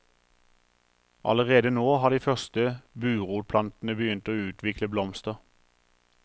Allerede nå har de første burotplantene begynt å utvikle blomster.